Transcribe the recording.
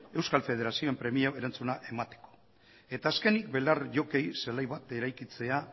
euskal federazioen premiei erantzuna emateko eta azkenik belar jokoei zelai bat eraikitzea